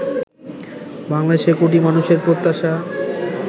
বাংলাদেশের কোটি মানুষের প্রত্যাশা